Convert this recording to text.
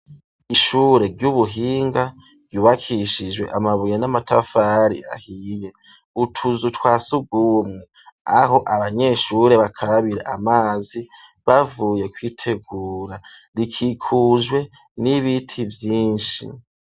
Ishure ry'ubuhinga ryubakishijwe amabuye n'amatafari ahiye, utuzu twasugumwe aho abanyeshure bakarabira amazi bavuye kwitegura, rikikujwe n'ibiti vyinshi.